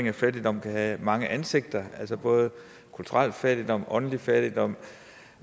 at fattigdom kan have mange ansigter altså både kulturel fattigdom åndelig fattigdom